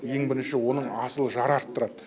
ең бірінші оның асыл жары арттырады